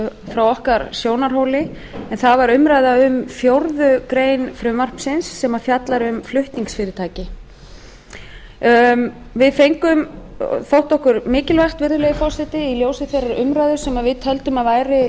frá okkar sjónarhóli en það var umræða um fjórða grein frumvarpsins sem fjallar um flutningsfyrirtæki við fengum þótti okkur mikilvægt virðulegi forseti í ljósi þeirrar umræðu sem við töldum að